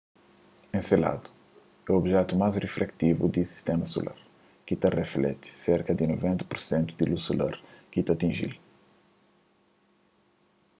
enseladu é objetu más rifleksivu di sistéma solar ki ta riflekti serka di 90 pur sentu di lus solar ki ta atinji-l